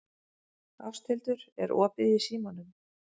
Ásthildur, er opið í Símanum?